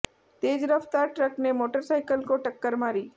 तेज रफ्तार ट्रक ने मोटरसाइकिल को टक्कर मारी